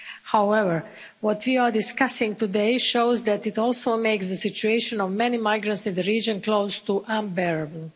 However, what we are discussing today shows that it also makes the situation of many migrants in the region close to unbearable.